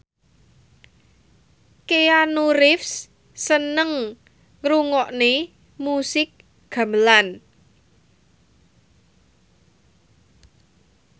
Keanu Reeves seneng ngrungokne musik gamelan